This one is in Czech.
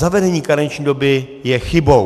Zavedení karenční doby je chybou.